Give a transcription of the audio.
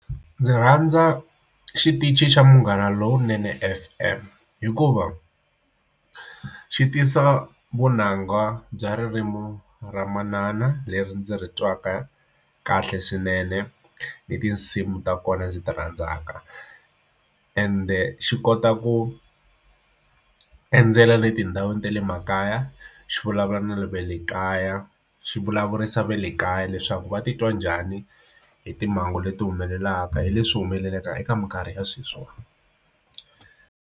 Ndzi rhandza xitichi xa Munghana Lowunene F_M hikuva xi tisa vunanga bya ririmi ra manana leri ndzi ri twaka kahle swinene ni tinsimu ta kona ndzi ti rhandzaka ende xi kota ku endzela le tindhawini ta le makaya xi vulavula na le va le kaya swi vulavurisa va le kaya leswaku va titwa njhani hi timhangu leti humelelaka hi leswi humelelaka eka minkarhi ya sweswiwa.